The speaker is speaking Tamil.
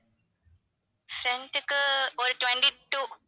friend க்கு ஒரு twenty-two